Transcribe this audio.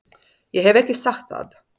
Ég hef ekki sagt það!